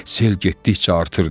Sel getdikcə artırdı.